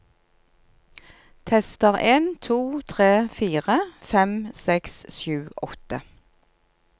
Tester en to tre fire fem seks sju åtte